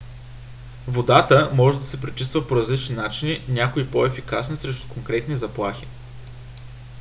водата може да се пречиства по различни начини някои по - ефикасни срещу конкретни заплахи